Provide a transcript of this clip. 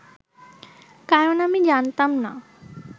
কারণ আমি জানতাম না